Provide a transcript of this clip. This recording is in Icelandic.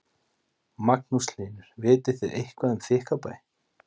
Magnús Hlynur: Vitið þið eitthvað um Þykkvabæ?